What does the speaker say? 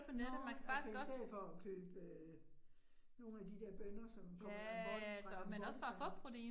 Nåh altså i stedet for at købe nogle af de der bønner, som kommer fra Langtbortistan